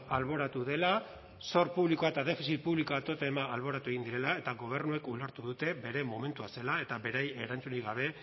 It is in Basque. alboratu dela zor publikoa eta defizit publikoa totema alboratu egin direla eta gobernuek ulertu dute bere momentua zela eta beraien erantzunik gabe